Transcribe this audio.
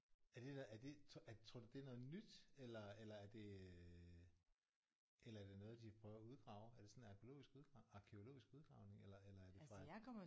Er det der er det tror tror du det er noget nyt eller eller er det øh eller er det noget de prøver at udgrave er det sådan arkæologisk udgrav arkæologisk udgravning eller eller er det